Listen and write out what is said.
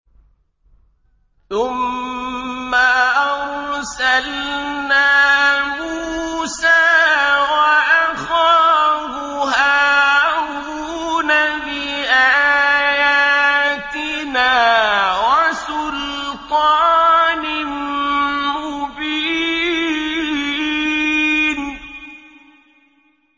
ثُمَّ أَرْسَلْنَا مُوسَىٰ وَأَخَاهُ هَارُونَ بِآيَاتِنَا وَسُلْطَانٍ مُّبِينٍ